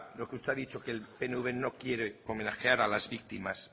lo que usted ha dicho que el pnv no quiere homenajear a las víctimas